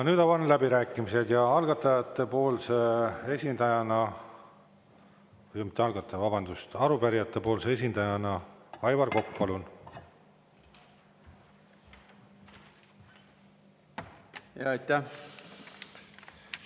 Nüüd avan läbirääkimised ja algatajate esindajana, mitte algataja, vabandust, arupärijate esindajana Aivar Kokk, palun!